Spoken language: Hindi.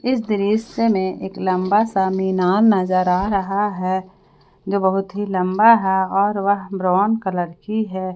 इस दृश्य में एक लंबा सा मीनार नजर आ रहा है जो बहुत ही लंबा है और वह ब्राउन कलर की है।